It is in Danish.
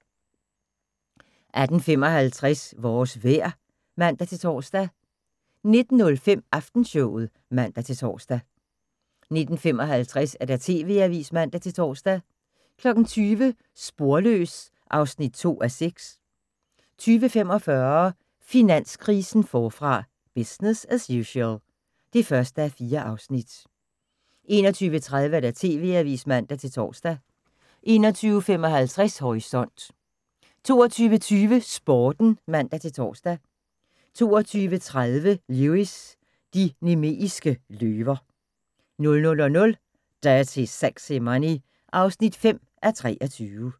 18:55: Vores vejr (man-tor) 19:05: Aftenshowet (man-tor) 19:55: TV-avisen (man-tor) 20:00: Sporløs (2:6) 20:45: Finanskrisen forfra - business as usual (1:4) 21:30: TV-avisen (man-tor) 21:55: Horisont 22:20: Sporten (man-tor) 22:30: Lewis: De nemeiske løver 00:00: Dirty Sexy Money (5:23)